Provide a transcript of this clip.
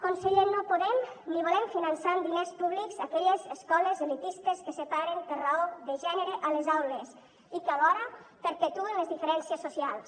conseller no podem ni volem finançar amb diners públics aquelles escoles elitistes que separen per raó de gènere a les aules i que alhora perpetuen les diferències socials